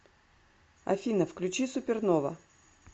афина включи супернова